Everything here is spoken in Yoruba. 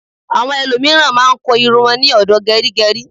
Àwọn ẹlòmíràn máa ń kun irun wọn ní ọ̀dọ̀ gẹrígẹrí.